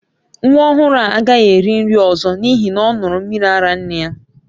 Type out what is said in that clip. Nwa ọhụrụ a agaghị eri nri ọzọ n'ihi na ọ ṅụrụ mmiri ara nne ya